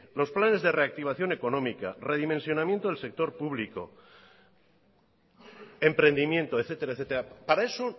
los planes de reactivación económica redimensionamiento del sector público emprendimiento etcétera para eso